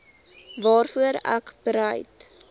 waarvoor ek bereid